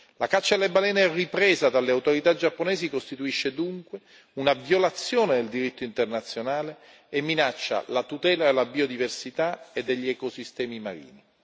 La caccia alle balene ripresa dalle autorità giapponesi costituisce dunque una violazione del diritto internazionale e minaccia la tutela della biodiversità e degli ecosistemi marini.